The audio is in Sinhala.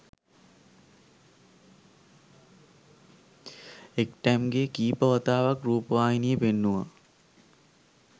එක්ටැම් ගේ කීපවතාවක් රුපවාහිනියේ පෙන්නුවා